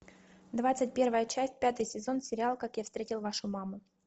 двадцать первая часть пятый сезон сериал как я встретил вашу маму